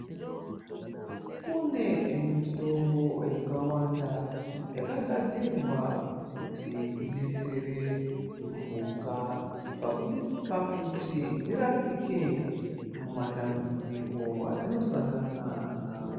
Kune mitombo yakawanda yakagadzirwa kuti idetsere mhuka pakuti dzirapike muma tambudziko adzino sangana nawo.